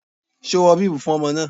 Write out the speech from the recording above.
Ṣo wọ bíbù fún ọmọ náà?